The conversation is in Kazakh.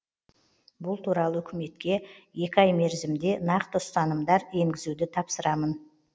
бұл туралы үкіметке екі ай мерзімде нақты ұсынымдар енгізуді тапсырамын